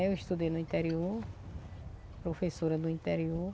Eu estudei no interior, professora do interior.